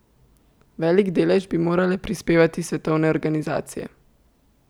Velik delež bi morale prispevati svetovne organizacije.